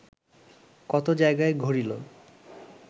কত জায়গায় ঘুরিল